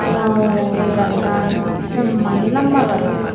omao ye garigan semba hi lamba gari.